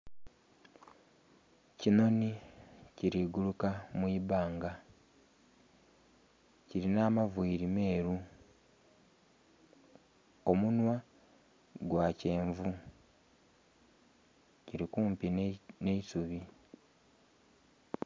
Kinhonhi kili guluka mu ibanga, kilinha amaviili meelu, omunhwa gwa kyenvu. Kili kumpi nh'eisubi.